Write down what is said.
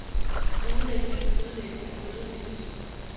ødelægges ødelægges ødelægges